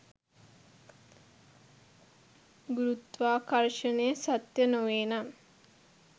ගුරුත්වාකර්ෂණය සත්‍ය නොවේනම්